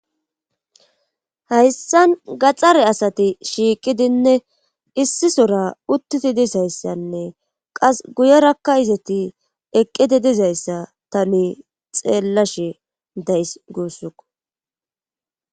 hayssan gaxxare asati shiiqidinne issisora uttiti dizayssanne qas guyerakka izati eqqidi dizayssa tani xeellashe days guussuko